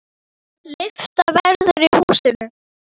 Lyfta verður í húsinu.